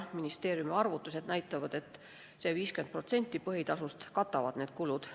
Ministeeriumi arvutused näitavad, et 50% põhitasust katavad need kulud.